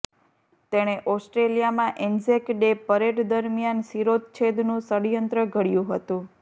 તેણે ઓસ્ટ્રેલિયામાં Anzac Day parade દરમિયાન શિરોચ્છેદનું ષડયંત્ર ઘડ્યું હતું